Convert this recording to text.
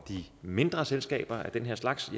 de mindre selskaber af den her slags